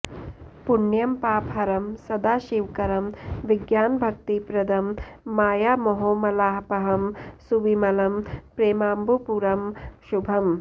पुण्यं पापहरं सदा शिवकरं विज्ञानभक्तिप्रदं मायामोहमलापहं सुविमलं प्रेमाम्बुपूरं शुभम्